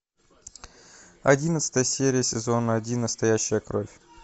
одиннадцатая серия сезона один настоящая кровь